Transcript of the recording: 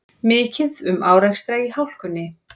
Mikið um árekstra í hálkunni